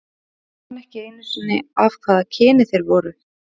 Ég man ekki einu sinni af hvaða kyni þeir voru.